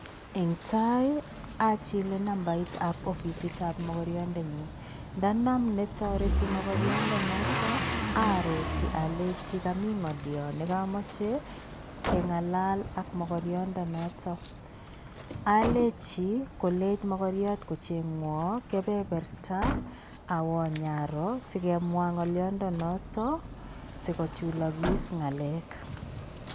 Eng'tai achilei nambaitab ofisitab makariondenyu. Ndonam netoreti makariondonoto arorji aleji kamii ng'olioo nekamachei keng'alal ak makariondonoto. Alechi kolech magariot kocheng'wo kebeberta awa nyaroo sigemwaa ng'oliondo noto sikochulakis ng'alek.